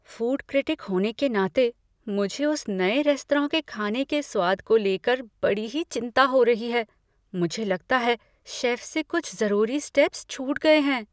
Food critic होने के नाते, मुझे उस नए रेस्तरां के खाने के स्वाद को लेकर बड़ी ही चिंता हो रही है। मुझे लगता है शेफ से कुछ ज़रूरी स्टेप्स छूट गए हैं।